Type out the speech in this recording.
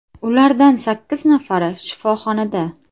Ulardan sakkiz nafari shifoxonada.